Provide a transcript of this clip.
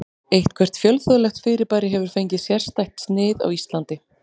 Eitthvert fjölþjóðlegt fyrirbæri hefur fengið sérstætt snið á Íslandi.